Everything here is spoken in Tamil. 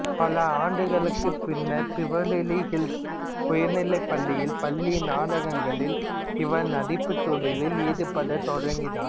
பல ஆண்டுகளுக்குப் பின்னர் பிவெர்லி ஹில்ஸ் உயர்நிலைப்பள்ளியில் பள்ளி நாடகங்களில் இவர் நடிப்புத் தொழிலில் ஈடுபடத் தொடங்கினார்